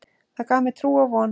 Það gaf mér trú og von.